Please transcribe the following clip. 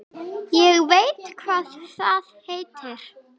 Ég veit hvað það heitir